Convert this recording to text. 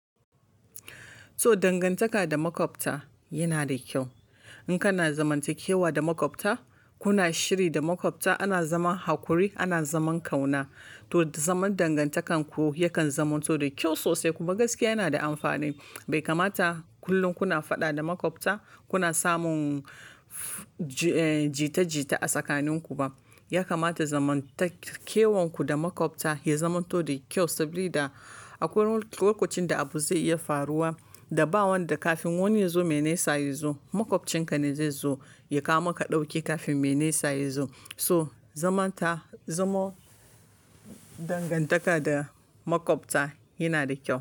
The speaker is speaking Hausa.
So dangantaka da maƙwabta yana da kyau. In kana zamantakewa da maƙwabta, kuna shiri da maƙwabta, ana zaman hakuri, ana zaman ƙauna, to zaman dangantakarku yakan zamanto da kyau sosai. Kuma gaskiya yana da amfani. Bai kamata kullum kuna faɗa da maƙwabta, kuna samun jita-jita a tsakaninku ba. Ya kamata zamantakewanku da maƙwabta ya zamanto da kyau saboda akwai lokacin da abu zai iya faruwa da ba wanda kafin wani ya zo, mai nesa ya zo. Makwabcin ne zai zo ya kawo maka dauki kafin mai nesa yazo to zaman dangan taka da makwabta yanada kyau.